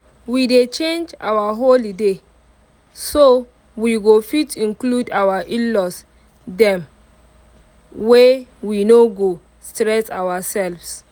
we dey change our holiday so we go fit include our in-laws dem way we no go stress ourselves